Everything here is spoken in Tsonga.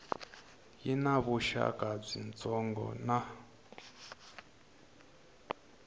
yi na vuxaka byitsongo na